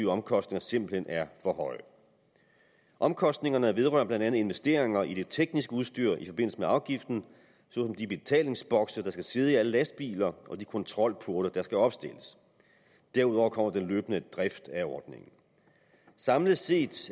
omkostninger simpelt hen er for høje omkostningerne vedrører blandt andet investeringer i det tekniske udstyr i forbindelse med afgiften såsom de betalingsbokse der skal sidde i alle lastbiler og de kontrolporte der skal opstilles derudover kommer den løbende drift af ordningen samlet set